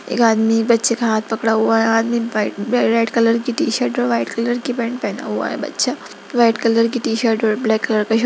एक आदमी बच्चे का हाथ पकड़ा हुआ है आदमी व्हाइट व रेड कलर की टी-शर्ट और व्हाइट कलर की पेंट पेहना हुआ बच्चा व्हाइट कलर की टी-शर्ट और ब्लैक कलर का शर्ट।